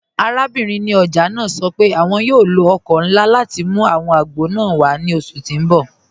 Àràbìnrin ní ọjà naa sọ pé àwọn yóò lọ ọkọ̀ nlá láti mú àwọn àgbọ̀ naa wà ni oṣù tí n bọ̀.